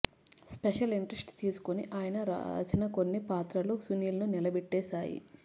special interest తీసుకుని ఆయన రాసిన కొన్ని పాత్రలు సునీల్ ను నిలబెట్టేశాయి